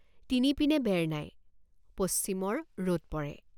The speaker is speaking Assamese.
তিনিপিনে বেৰ নাই পশ্চিমৰ ৰদ পৰে।